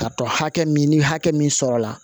K'a tɔ hakɛ min ni hakɛ min sɔrɔla